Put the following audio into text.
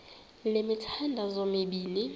le mithandazo mibini